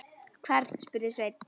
Hvern, spurði Sveinn.